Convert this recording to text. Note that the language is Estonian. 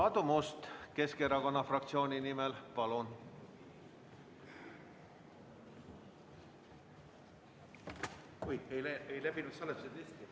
Aadu Must Keskerakonna fraktsiooni nimel, palun!